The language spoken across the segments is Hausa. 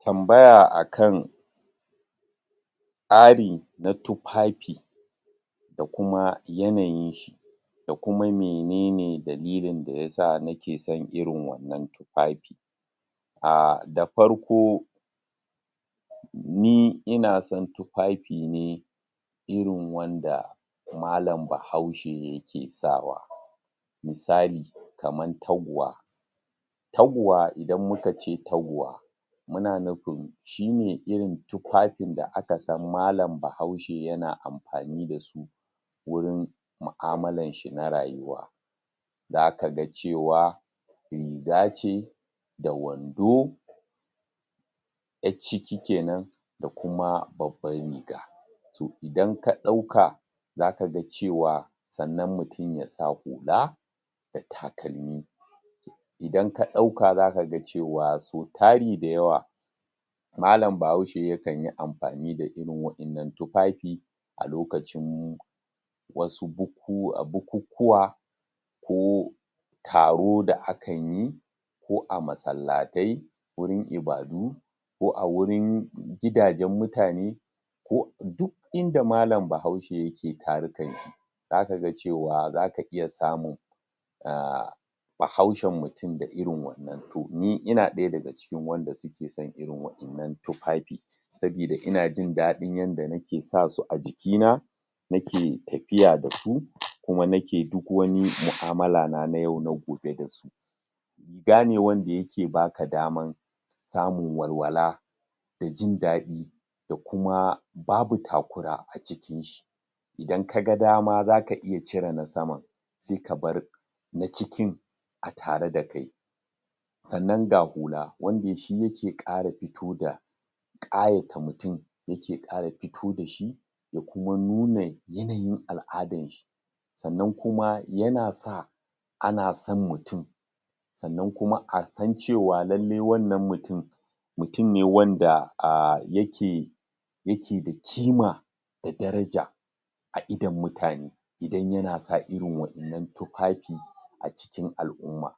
Tambaya a kan tsari na tufafi, da kuma yanayin shi, da kuma mene ne dalilin da yasa nake son irin wannan tufafi. um Da farko, ni ina son tufafi ne irin wanda mallam bahaushe yake sawa. Misali, kaman taguwa. Taguwa, idan muka ce taguwa muna nufin shine irin tufafin da aka san mallam bahaushe yana amfani da su, wurin mu'amallan shi na rayuwa. Za kaga cewa riga ce da wando, ƴacciki kenan da kuma babban riga. To, idan ka ɗauka za kaga cewa, sannan mutum ya sa hula, da takalmi. Idan ka ɗauka za gaka cewa, sau tari da yawa mallam bahaushe ya kanyi amfani da irin wa'innan tufafi, a lokacim wasu bukukkuwa, ko taro da akan yi, ko a masallatai, wurin ibadu, ko a wurin gidajen mutane, ko du inda mallam bahaushe yake tarukan shi. Za kaga cewa, za ka iya samun um bahaushen mutum da irin wannan, to ni ina ɗaya daga cikin wanda suke son irin wa'innan tufafi, sabida ina jin daɗin yanda nake sa su a jiki na nake tafiya da su, kuma nake duk wani mu'amalla na, na yau na gobe da su. Riga ne wanda yake baka daman samun walwala da jin daɗi, da kuma babu takura a cikin shi. Idan kaga dama za ka iya cire na saman, se ka bar na cikin a tare da kai. Sannan ga hula, wanda shi yike ƙara fito da ƙayata mutum, yake ƙara fito dashi, da kuma nuna yanayin al'adan shi. Sannan kuma, yana sa ana san mutum, sannan kuma a san cewa lallai wannan mutum, mutum wanda um yake yake da kima, da daraja a idon mutane, idan yana sa irin wa'innan tufafi a cikin al'umma.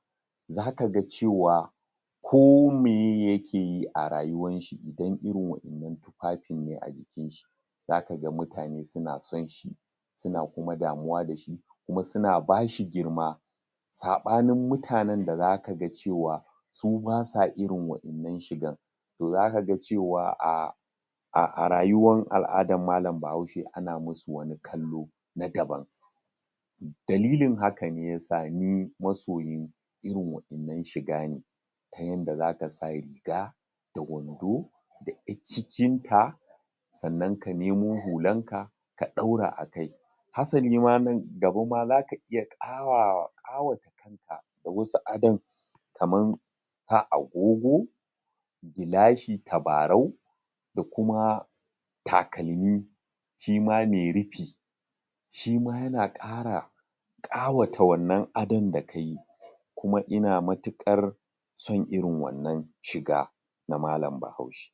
Za kaga cewa ko meye yakeyi a rayuwan shi, idan irin wa'innan tufafin ne a jikin shi, za kaga mutane suna son shi, suna kuma damuwa dashi, kuma suna bashi girma, saɓanin mutanen da za kaga cewa su ba sa irin wa'innan shigan. To, za kaga cewa um a rayuwan al'adan mallam bahaushe ana musu wani kallo na daban. Dalilin haka ne yasa ni masoyin irin wa'innan shiga ne, ta yanda zaka sa riga, da wando, da ƴaccikin ta, sannan ka nemo hulan ka ka ɗaura a kai. Hasali ma nan gaba ma zaka iya ƙawata shirin ka da wasu adon, kaman sa agogo, gilashi tabarau, da kuma takalmi, shi ma mai rufi, shima yana ƙara ƙawata wannan adon da yayi, kuma ina matuƙar son irin wannan shiga na mallam bahaushe.